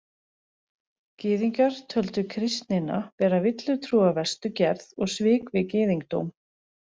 Gyðingar töldu kristnina vera villutrú af verstu gerð og svik við gyðingdóm.